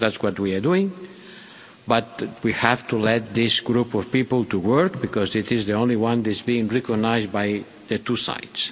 That's what we are doing. But we have to allow this group of people to work because it is the only group that is being recognised by the two sides.